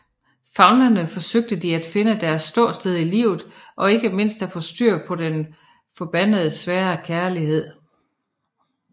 Famlende forsøger de at finde deres ståsted i livet og ikke mindst at få styr på den forbandede svære kærlighed